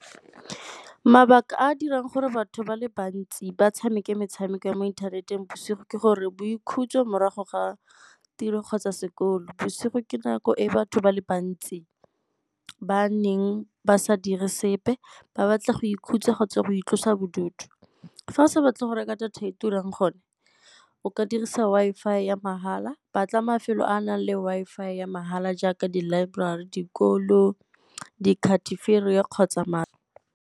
Mabaka a a dirang gore batho ba le bantsi ba tshameke metshameko ya mo ithaneteng bosigo ke gore boikhutso morago ga tiro kgotsa sekolo, bsigo ke nako e batho ba le bantsi ba neng ba sa dire sepe ba batla go ikhutsa kgotsa go itlosa bodutu. Fa a sa batle go reka data e e turang gone o ka dirisa Wi-Fi ya mahala batla mafelo a a nang le Wi-Fi ya mahala jaaka di laeborari, dikolo, di kgotsa .